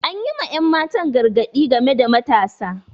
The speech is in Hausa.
Anyi ma ƴan matan gargadi game da matasa